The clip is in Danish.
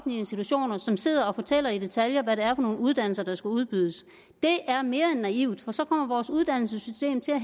institutioner som sidder og fortæller i detaljer hvad det er for nogle uddannelser der skal udbydes er mere end naivt for så kommer vores uddannelsessystem til at